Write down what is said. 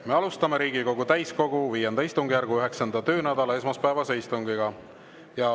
Me alustame Riigikogu täiskogu V istungjärgu 9. töönädala esmaspäevast istungit.